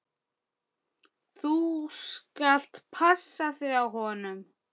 Þú skalt passa þig á honum!